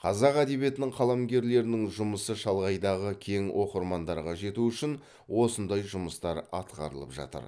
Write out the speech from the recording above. қазақ әдебиетінің қаламгерлерінің жұмысы шалғайдағы кең оқырмандарға жету үшін осындай жұмыстар атқарылып жатыр